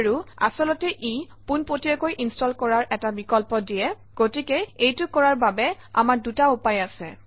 আৰু আচলতে ই পোনপটীয়াকৈ ইনষ্টল কৰাৰ এটা বিকল্প দিয়ে গতিকে এইটো কৰাৰ বাবে আমাৰ দুটা উপায় আছে